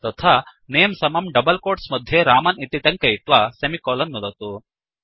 तथा नमे समं डबल्कोट्स् मध्ये रामन् इति टङ्कयित्वा सेमिकोलन् नुदतु